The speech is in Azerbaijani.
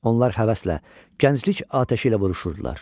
Onlar həvəslə gənclik atəşi ilə vuruşurdular.